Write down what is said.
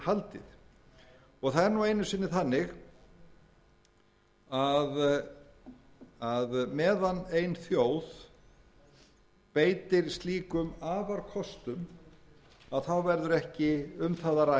viðhaldið það er nú einu sinni þannig að meðan ein þjóð beitir slíkum afarkostum verður ekki um það að ræða